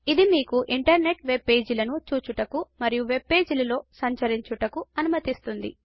ఇది మీకు internet web పేజీలను చూచుటకు మరియు వెబ్ పేజీలలో సంచరించుటకు అనుమతిస్తుంది